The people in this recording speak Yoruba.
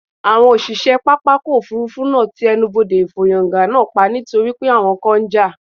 Àwọn òṣìṣẹ́ pápákọ̀ òfuurufú náà ti ẹnubodè ìfọ́yángá náà pa nítorí pé àwọn kan ń jà